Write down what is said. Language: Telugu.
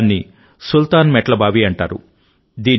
దాన్ని సుల్తాన్ మెట్ల బావి అంటారు